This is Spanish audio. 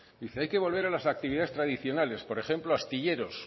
dice hay que volver a las actividades tradicionales por ejemplo astilleros